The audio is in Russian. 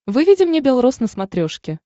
выведи мне бел роз на смотрешке